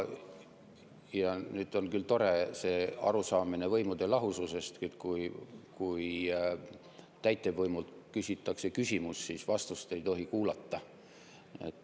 On küll tore selline arusaamine võimude lahususest, et kui täitevvõimult küsitakse küsimus, siis vastust ei tohi kuulata.